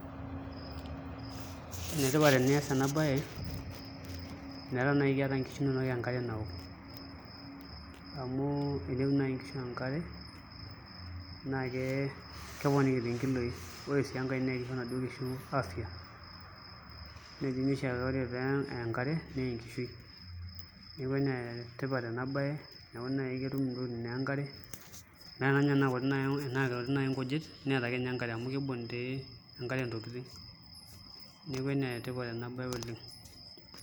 Enetipat enias ena baye pee etum nkishu inonok enkare naok amu tenook naai nkishu enkare naa keponiki toi nkilooi ore sii enkae naa kisho inaduo kishu afya ore toi enkare naa enkishui neeku enetipat ena baye eneeku ketum ntokitin enkare ata ninye tenaa kuti naai nkujit neeta ake ninye enkare amu kiibung' tii enkare ntokitin neeku enetipat ena baye oleng'.